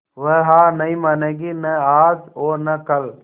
वह हार नहीं मानेगी न आज और न कल